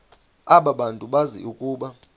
abantu bazi ukuba